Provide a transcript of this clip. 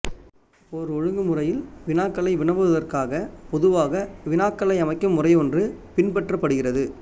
ஓர் ஒழுங்கு முறையில் வினாக்களை வினவுவதற்காக பொதுவாக வினாக்களை அமைக்கும் முறையொன்று பினபற்றப்படுகிறது